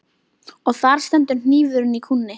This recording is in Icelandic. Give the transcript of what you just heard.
Og þar stendur hnífurinn í kúnni.